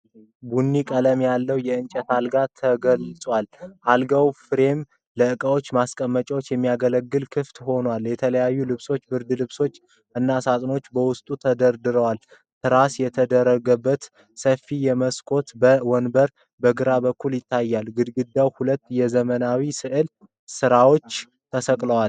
ቡኒ ቀለም ያለው የእንጨት አልጋ ተገልጿል። የአልጋው ፍሬም ለዕቃዎች ማስቀመጫነት የሚያገለግል ክፍት ሆኗል። የተለያዩ ልብሶች፣ ብርድ ልብሶች እና ሳጥኖች በውስጡ ተደርድረዋል። ትራስ የተደረገበት ሰፊ የመስኮት ወንበር በግራ በኩል ይታያል። ግድግዳው ሁለት የዘመናዊ ሥዕል ስራዎች ተሰቅለዋል።